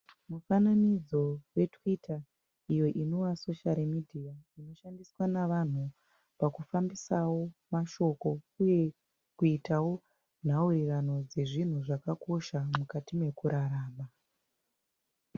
Mufananidzo weTwitter iyo inova soshari medhiya inoshandiswa nevanhu pakufambisawo mashoko uye kuitawo nhaurirano dzezvinhu zvakakosha mukati mekurarama.